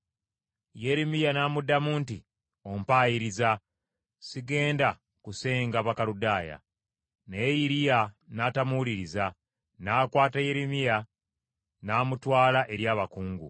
Yeremiya n’amuddamu nti, “Ompayiriza! Sigenda kusenga Bakaludaaya.” Naye Iriya n’atamuwuliriza; n’akwata Yeremiya n’amutwala eri abakungu.